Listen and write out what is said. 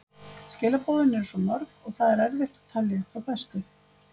Skilaboðin eru svo mörg og það er erfitt að telja upp þau bestu.